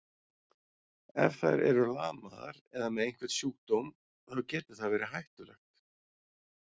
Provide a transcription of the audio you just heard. Ef þær eru lamaðar eða með einhvern sjúkdóm, þá getur það verið hættulegt.